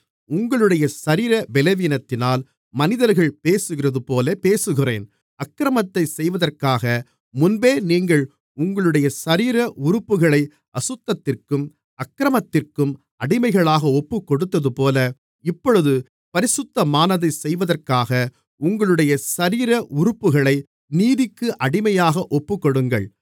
உங்களுடைய சரீர பலவீனத்தினால் மனிதர்கள் பேசுகிறதுபோலப் பேசுகிறேன் அக்கிரமத்தைச் செய்வதற்காக முன்பே நீங்கள் உங்களுடைய சரீர உறுப்புகளை அசுத்தத்திற்கும் அக்கிரமத்திற்கும் அடிமைகளாக ஒப்புக்கொடுத்ததுபோல இப்பொழுது பரிசுத்தமானதைச் செய்வதற்காக உங்களுடைய சரீர உறுப்புகளை நீதிக்கு அடிமையாக ஒப்புக்கொடுங்கள்